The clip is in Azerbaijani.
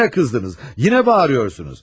Yenə qızdınız, yenə bağırıyorsunuz.